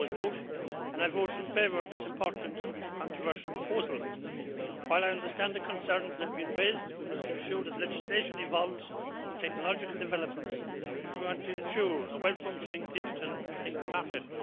I always vote and I voted in favour of this important, if controversial, proposal. While I understand the concerns that have been raised, we must ensure that legislation evolves with technological developments if we want to ensure a well functioning digital single market.